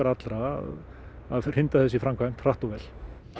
allra að hrinda þessu í framkvæmd hratt og vel